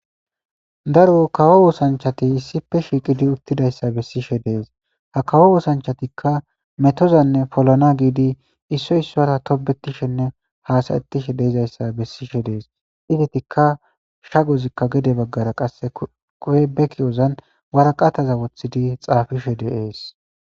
daro kawo wusanchati issife shiiqidi uttidayssa bessishe dees ha kawo wusanchatikka metozanne polana giidi issoy issora tobetishenne haasayettishe deizayssa bessishe dees idetikka shagozikka gede baggara qasse quwebeki ozan waraqataza wothidi xaafishe deees